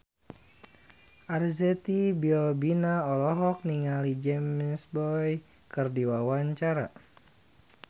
Arzetti Bilbina olohok ningali James Bay keur diwawancara